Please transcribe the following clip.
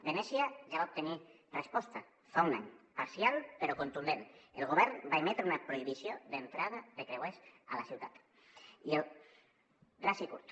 venècia ja va obtenir resposta fa un any parcial però contundent el govern va emetre una prohibició d’entrada de creuers a la ciutat ras i curt